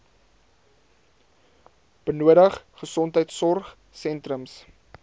benodig gesondheidsorg sentrums